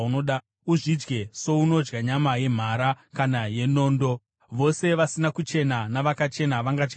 Uzvidye sounodya nyama yemhara kana yenondo. Vose vasina kuchena navakachena vangadya havo.